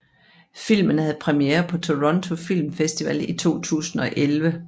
Filmen havde premiere på Toronto Film Festival i 2011